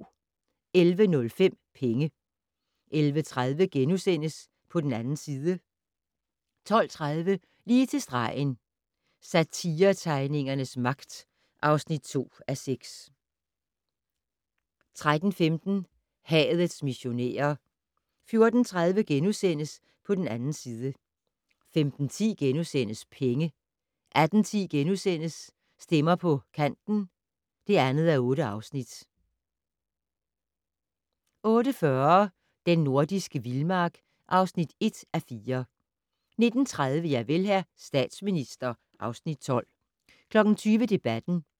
11:05: Penge 11:30: På den 2. side * 12:30: Lige til stregen - Satiretegningernes magt (2:6) 13:15: Hadets missionærer 14:30: På den 2. side * 15:10: Penge * 18:10: Stemmer på Kanten (2:8)* 18:40: Den nordiske vildmark (1:4) 19:30: Javel, hr. statsminister (Afs. 12) 20:00: Debatten